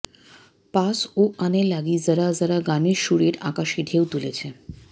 pass ও আনেলাগি জরা জরা গানের সুরের আকাশে ঢেউ তুলেছে